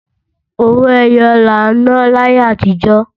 Owó ẹyọ là ń ná láyé àtíjọ̀